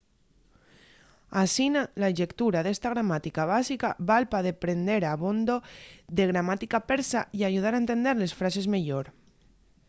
asina la llectura d'esta gramática básica val pa deprender abondo de gramática persa y ayuda a entender les frases meyor